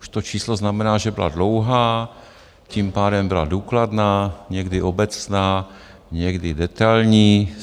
Už to číslo znamená, že byla dlouhá, tím pádem byla důkladná, někdy obecná, někdy detailní.